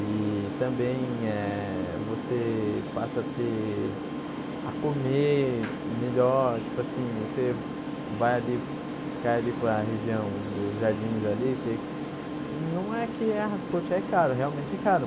E também eh você passa a ter a comer melhor, tipo assim, você vai ali, cai ali para região dos jardins ali, você não é que, ah poxa, é caro, realmente é caro,